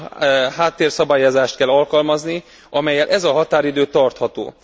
Olyan háttérszabályozást kell alkalmazni, amellyel ez a határidő tartható.